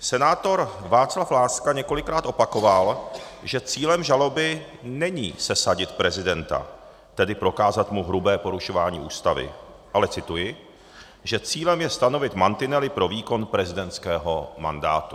Senátor Václav Láska několikrát opakoval, že cílem žaloby není sesadit prezidenta, tedy prokázat mu hrubé porušování Ústavy, ale - cituji - "že cílem je stanovit mantinely pro výkon prezidentského mandátu".